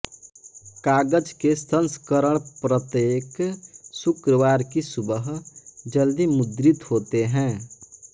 कागज के संस्करण प्रत्येक शुक्रवार की सुबह जल्दी मुद्रित होते हैं